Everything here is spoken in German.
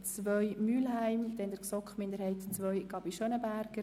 II//Mühlheim und dann der GSoK-Minderheit II/Gabi das Wort.